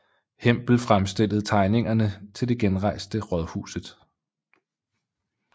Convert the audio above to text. Hempel fremstillede tegningerne til det genrejste rådhuset